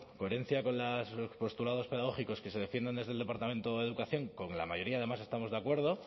coherencia con postulados pedagógicos que se defienden desde el departamento de educación con la mayoría además estamos de acuerdo